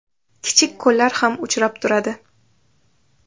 Kichik ko‘llar ham uchrab turadi.